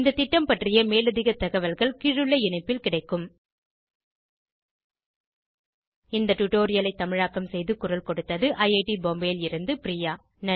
இந்த திட்டம் பற்றிய மேலதிக தகவல்கள் கீழுள்ள இணைப்பில் கிடைக்கும் httpspoken tutorialorgNMEICT Intro இந்த டுடோரியலை தமிழாக்கம் செய்து குரல் கொடுத்தது ஐஐடி பாம்பேவில் இருந்து பிரியா